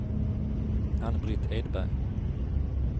Ann-Britt Edberg